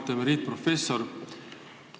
Auväärt emeriitprofessor!